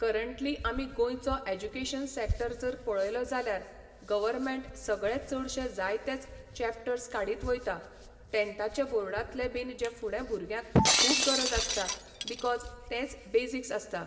Currently आमी गोंयचो education sector जर पळयलो जाल्यार गवर्मेंट सगळे चडशे जायतेच चॅपटर्स काडीत वयता, टेंथाचे बोर्डांतले बीन जे फुडें भुरग्यांक खूब गरज आसता बिकॉज तेंच बेसिक्स आसता.